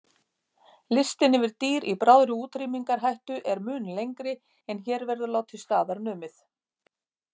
Listinn yfir dýr í bráðri útrýmingarhættu er mun lengri en hér verður látið staðar numið.